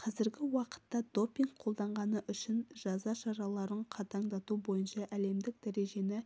қазіргі уақытта допинг қолданғаны үшін жаза шараларын қатаңдату бойынша әлемдік тәжірибені